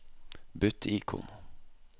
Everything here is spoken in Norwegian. bytt ikon